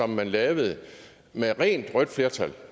man lavede med rent rødt flertal